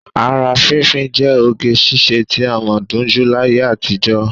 Ara fínfín jẹ́ oge ṣiṣẹ́ tí a mọ̀ dunjú láyé àtijọ́